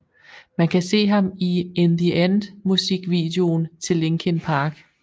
Man kan se ham i In the End musikvideoen til Linkin Park